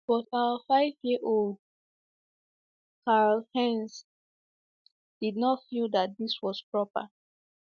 But our five - year - old Karl - Heinz did not not feel that this was proper.